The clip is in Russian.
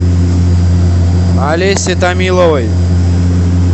олесе томиловой